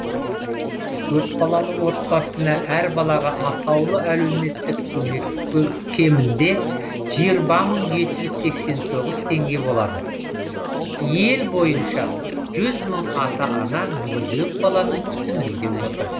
көпбалалы отбасына әр балаға атаулы әлеуметтік көмек кемінде жиырма мың жеті жүз сексен тоғыз теңге болады ел бойынша жүз мың ата ана мүгедек баланың күтімінде отыр